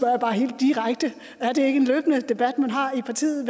jeg bare helt direkte er det ikke en løbende debat man har i partiet